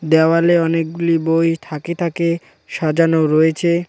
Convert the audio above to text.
দেওয়ালে অনেকগুলি বই থাকে থাকে সাজানো রয়েচে।